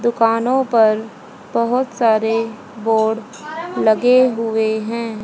दुकानों पर बहोत सारे बोर्ड लगे हुए हैं।